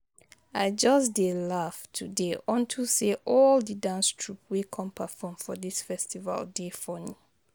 I just dey laugh today unto say all the dance troupe wey come perform for the festival dey funny